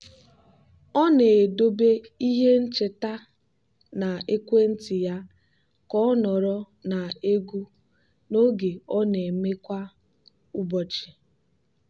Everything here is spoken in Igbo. ọ na-edobe ihe ncheta na ekwentị ya ka ọ nọrọ na egwu na oge ọ na-eme kwa ụbọchị.